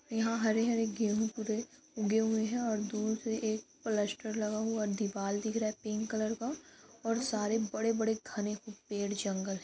यहाँ हरे-हरे गेहूं पूरे उगे हैं और दूर से एक प्लास्टर लगा हुआ दीवाल दिख रहा है पिंक कलर का और सारे बड़े बड़े घने पेड़ जंगल --